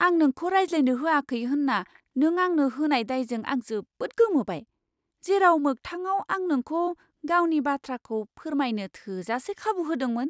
आं नोंखौ रायज्लायनो होआखै होन्ना नों आंनो होनाय दायजों आं जोबोद गोमोबाय, जेराव मोगथाङाव आं नोंखौ गावनि बाथ्राखौ फोरमायनो थोजासे खाबु होदोंमोन।